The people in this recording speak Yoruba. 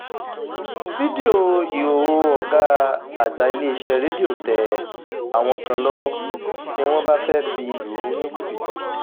fídíò ìhòòhò ọ̀gá àgbà iléeṣẹ́ rédíò tẹ àwọn kan lọ́wọ́ ni wọ́n bá fẹ́ẹ́ fi lù ú ní jìbìtì